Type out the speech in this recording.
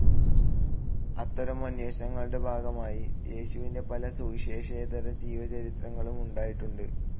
അത്തരം അന്വേഷണങ്ങളുടെ ഭാഗമായി യേശുവിൻ്റെ പല സുവിശേഷേതര ജീവചരിത്രങ്ങളും ഉണ്ടായിട്ടുണ്ട്.